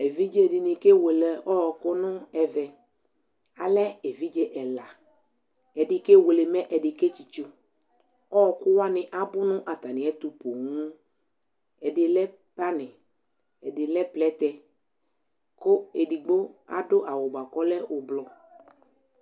ɛviḍǰe dini ɑkewele ɔkunébé mé ẹvidje ɛlɑ ɛɖịkéwelé mẹ ɛɖiƙetsitso ɔkụwani ɑɓʊpooo ɛɖi lé pɑni ɛɖilé plété kụẹɖikpo adu awu buakɔlé éblo